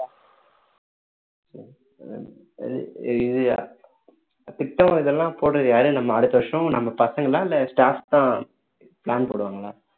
இது திட்டம் இதெல்லாம் போடுறது யாரு நம்ம அடுத்த வருஷம் நம்ம பசங்களா இல்ல staff தான் plan போடுவாங்களா